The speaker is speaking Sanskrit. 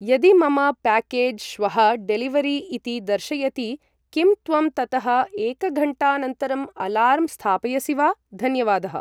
यदि मम प्याकेज् श्वः डेलिवरि इति दर्शयति, किं त्वं ततः एकघण्टानन्तरम् अलार्म् स्थापयसि वा, धन्यवादः